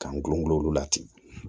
K'an gulongulon la ten